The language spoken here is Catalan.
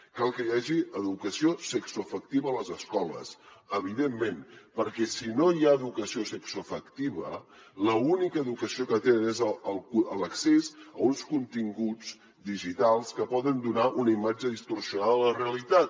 cal que hi hagi educació sexoafectiva a les escoles evidentment perquè si no hi ha educació sexoafectiva l’única educació que tenen és l’accés a uns continguts digitals que poden donar una imatge distorsionada de la realitat